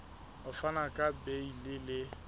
ho fana ka beile le